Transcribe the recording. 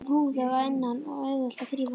Það er húðað að innan og auðvelt að þrífa.